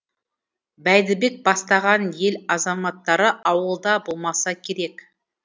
бәйдібек бастаған ел азаматтары ауылда болмаса керек